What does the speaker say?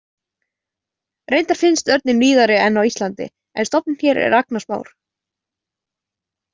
Reyndar finnst örninn víðari en á Íslandi en stofninn hér er agnarsmár.